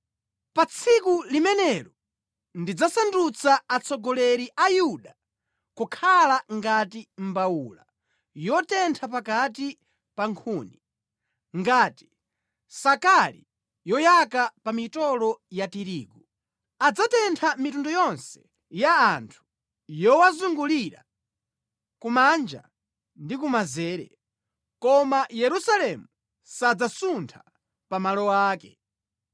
“Pa tsiku limenelo ndidzasandutsa atsogoleri a Yuda kukhala ngati mbawula yotentha pakati pa nkhuni, ngati sakali yoyaka pa mitolo ya tirigu. Adzatentha mitundu yonse ya anthu yowazungulira, kumanja ndi kumanzere, koma Yerusalemu sadzasuntha pa malo ake.